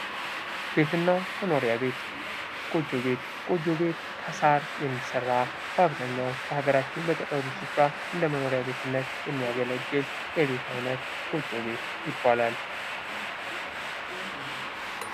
ቤት እና መኖሪያ ቤት ጎጆ ቤት ጎጆ ቤት ከሳር የሚሰራ በሀገራችን በአብዛኛው በገጠሩ ስፍራ እንደመኖሪያ ቤትነት የሚያገለግል የቤት አይነት ጎጆ ቤት ይባላል።